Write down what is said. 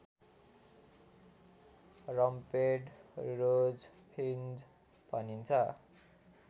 rumped rosefinch भनिन्छ